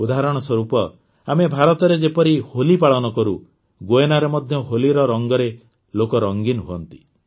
ଉଦାହରଣ ସ୍ୱରୂପ ଆମେ ଭାରତରେ ଯେପରି ହୋଲି ପାଳନ କରୁ ଗୁୟେନାରେ ମଧ୍ୟ ହୋଲିର ରଙ୍ଗରେ ଲୋକେ ରଞ୍ଜିନ ହୁଅନ୍ତି